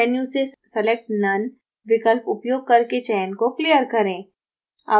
select menu से select none विकल्प उपयोग करके चयन को clear करें